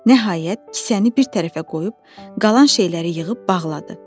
Nəhayət, kisəni bir tərəfə qoyub, qalan şeyləri yığıb bağladı.